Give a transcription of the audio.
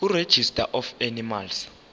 kuregistrar of animals